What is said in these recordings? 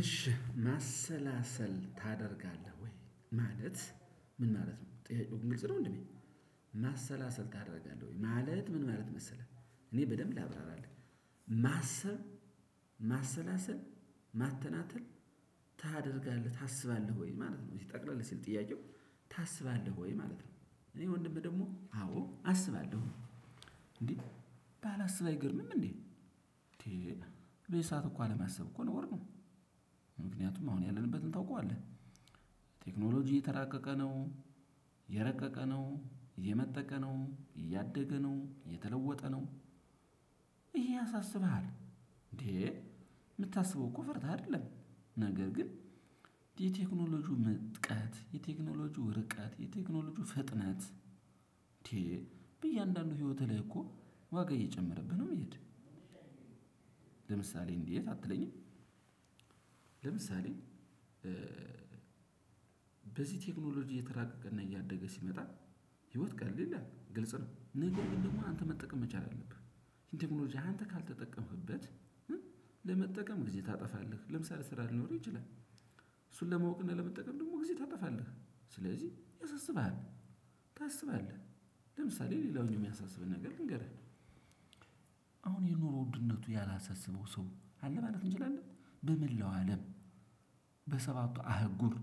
እሺ ማሰላሰል ታደርጋለህ ወይ? ማለት ምን ማለት ነው ጥያቄው ግልጽ ነው? እንዴ ማሰላሰል ታደርጋለህ ወይ ማለት ምን ማለት መሰለህ እኔ በደንብ ላብራራልህ። ማሰብ ማሰላሰል ማተናተል ታደርጋለህ ታስባለህ ወይ ማለት ነው። እዚህ ጠቅለል ሲል ጥያቄው ታስባለህ ወይ ማለት ነው። እኔ ወንድምህ ደግሞ አዎ አስባለሁ። እንዴ ባላስብ አይገርምም እንዴ በየሰአቱ እኮ አለማሰብ እኮ ነውር ነው። ምክንያቱም አሁን ያለንበትን ታውቀዋለህ ቴክኖሎጂ እየተራቀቀ ነው እየረቀቀ ነው እየመጠቀ ነው እያደገ ነው የተለወጠ ነው። ያሳስብሃል እንዴ የምታስበው እኮ ፈርተህ አይደለም። ነገር ግን የቴክኖሎጂው ምጥቃት የቴክኖሎጂው ርቀት የቴክኖሎጂው ፍጥነት። እያንዳንዱ ህይወትህ ላይ እኮ ዋጋ እየጨመረብህ ነው የሚሄድህ ለምሳሌ እንዴት አትለኝም? ለምሳሌ በዚህ ቴክኖሎጂ እየተራቀቀና እያደገ ሲመጣ ህይወት ቀለል ይላል ግልጽ ነው። ነገር ግን ደግሞ አንተ መጠቀም መቻል አለብህ ቴክኖሎጂ አንተ ካልተጠቀምክበት። ለመጠቀም ጊዜ ታጠፋለህ ለምሳሌ ስራ ሊኖርህ ይችላል። እሱን ለማወቅ እና ለመጠቀም ደግሞ ጊዜ ታጠፋለህ ስለዚህ ያሳስብሃል። ታስባለህ ለምሳሌ ሌላውን የሚያሳስበን ነገር ልንገርህ አሁን የኑሮ ውድነቱ ያላሳሰበው ሰው አለ ማለት እንችላለን በመላው አለም። በሰባቱ አህጉር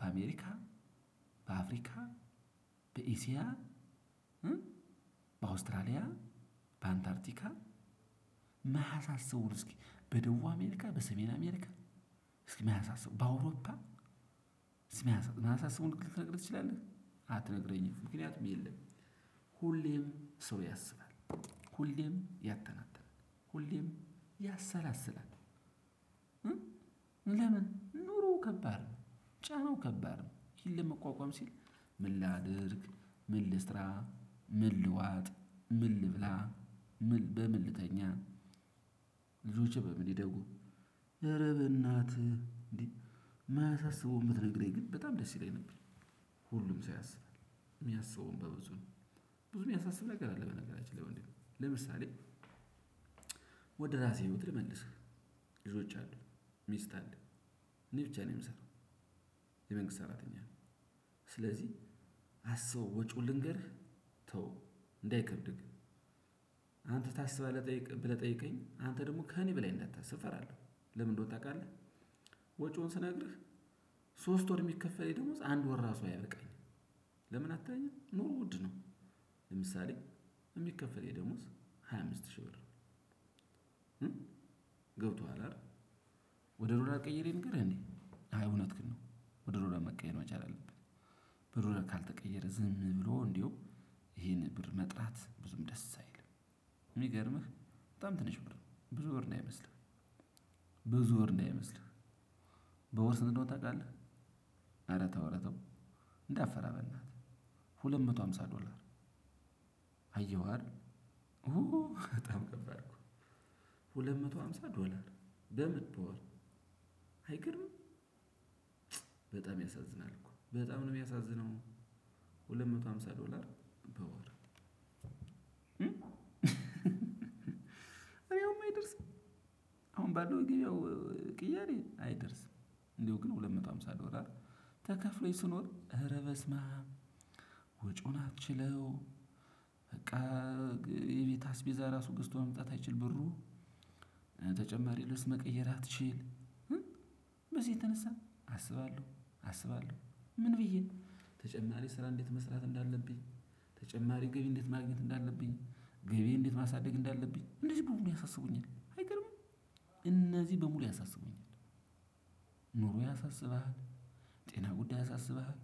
በአሜሪካ በአፍሪካ በኢሲያ በአውስትራሊያ በአንታርቲካ ማያሳስበው እስኪ በደቡብ አሜሪካ በሰሜን አሜሪካ እስኪ ማያሳስበው በአውሮፓ እስኪ ማያሳስበውን ልትነግረኝ ትችላለህ? አትነግረኝም ምክንያቱም የለም። ሁሌም ሰው ያስባል ሁሌም ያተናትናል ሁሌም ያሰላስላል። ለምን ኑሮ ከባድ ነው? ጫናው ከባድ ነው። ይሄን ለመቋቋም ሲል ምን ላድርግ? ምን ልስራ? ምን ልዋጥ? ምን ልብላ? ምን በምን ልተኛ? ልጆቼ በምን ይደጉ? ኧረ በእናትህ እንዴ የማያሳስበው ብትነግረኝ ግን በጣም ደስ ይለኝ ነበር። ሁሉም ሰው ያስባል የሚያስበውን በብዙ ነው። ብዙ የሚያሳስብ ነገር አለ በነገራችን ላይ ወንድሜ ለምሳሌ ወደ ራሴ ህይወት ልመልስህ። ልጆች አሉ። ሚስት አለ። እኔ ብቻ ነኝ የምሰራው። የመንግስት ሰራተኛ ነኝ። ስለዚህ አስበው ወጪውን ልንገርህ ተው እንዳይከብድህ። አንተ ታስባለህ ብለህ ጠይቀኝ አንተ ደግሞ ከእኔ በላይ እንደታሰብ እፈራለሁ። ለምንድነው ታውቃለህ? ወጪውን ስነግርህ ሶስት ወር የሚከፈለኝ ደሞዝ አንድ ወር ራሱ አያበቃኝም። ለምን አትለኝም ኑሮ ውድ ነው። ለምሳሌ የሚከፈለኝ የደሞዝ ሃያ አምስት ሺህ ብር? ገብቶሃል አይደል? ወደ ዶላር ቀይሬ ልንገርህ እንዴ አይ እውነትክን ነው። ወደ ዶላር መቀየር መቻል አለበት። በዶላር ለካልተቀየረ ዝም ብሎ እንደው ይሄንን ብር መጥራት ብዙም ደስ አይልም። የሚገርምህ በጣም ትንሽ ብር ነው ብዙ ብር እንዳይመስለህ። ብዙ ብር እንዳይመስልህ። በወር ስንት እንደሆነ ታውቃለህ? ኧረ ተው ኧረ ተው። እንዳትፈራ በእናትህ ሁለት መቶ ሃምሳ ዶላር። አየኸው አይደል? በጣም ከባድ ነው። ሁለት መቶ ሃምሳ ዶላር በምን በወር? አይገርምም በጣም ያሳዝናል እኮ በጣም ነው የሚያሳዝነው። ሁለት መቶ ሃምሳ ዶላር በወር። አይደርስም አሁን ባለው የገበያው ቅያሪ አይደርስም። እንደው ግን ሁለት መቶ ሃምሳ ዶላር ተከፍሎኝ ስኖር ኧረ በስመአም። ወጪውን አትችለው። በቃ የቤት አስቤዛ ራሱ ገዝቶ መምጣት አይችል ብሩ። ተጨማሪ ልብስ መቀየር አትችል። በዚህ የተነሳ አስባለሁ አስባለሁ። ምን ብዬ ተጨማሪ ስራ እንዴት መስራት እንዳለብኝ። ተጨማሪ ገቢ እንዴት ማግኘት እንዳለብኝ ገቢ እንዴት ማሳደግ እንዳለብኝ። እንደዚህ በሙሉ ያሳስቡኛል አይገርምም? እነዚህ በሙሉ ያሳስቡኛል። ኑሮ ያሳስብሃል? ጤና ጉዳይ ያሳስብሃል?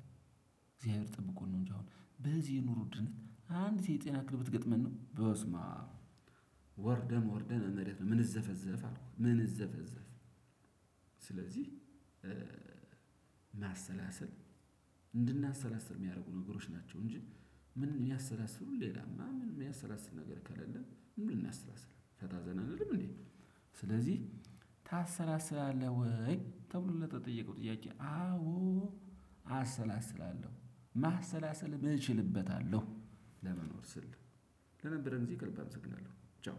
እግዚአብሔር ጠብቆን ነው እንጂ አሁን በዚህ የኑሮ ውድነት አንዲት የጤና ክልብ ብትገጥመን ነው በስመአም። ወርደን ወርደን እመሬት ነው ምንዘፈዘፍ አልኩ ምንዘፈዘፍ። ስለዚህ ማሰላሰል እንድናሰላስል የሚያደርጉ ነገሮች ናቸው። እንጂ ምን የሚያሰላስሉ ሌላማ ምን የሚያሰላስል ነገር ከሌለ ምን ልናሰላስል ፈታ ዘና አንልም እንዴ? ስለዚህ ታሰላስላለህ ወይ ተብሎ ለተጠየቀው ጥያቄ አዎ አሰላስላለሁ ማሰላሰል እችልበታለሁ። ለመኖር ስል ለነበረን ጊዜ ከልብ አመሰግናለሁ። ቻው